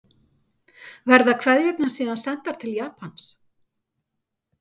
Verða kveðjurnar síðan sendar til Japans